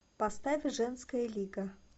поставь женская лига